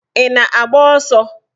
Ị na-agba ọsọ?